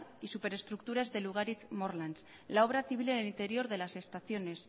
y superestructuras de lugaritz morlans la obra civil en el interior de las estaciones